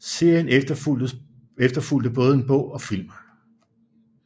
Serien efterfulgte både en bog og film